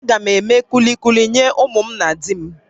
Agam eme kulukuli nye ụmụ na di m